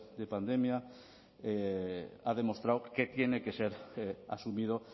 de pandemia ha demostrado que tiene que ser asumido